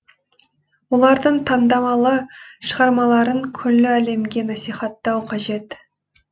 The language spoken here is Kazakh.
олардың таңдамалы шығармаларын күллі әлемге насихаттау қажет